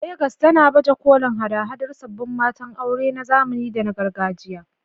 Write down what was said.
Legas tana baje kolin haɗa-haɗar sabbin matan aure na zamani da na gargajiya